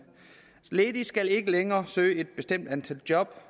ledige skal ikke længere søge et bestemt antal job